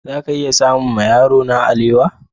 Za ka iya samun ma yarona alewa?